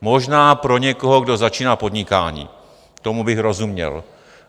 Možná pro někoho, kdo začíná podnikání, tomu bych rozuměl.